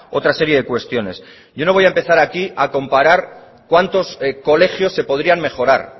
otra serie de cuestiones yo no voy a empezar aquí a comparar cuántos colegios se podrían mejorar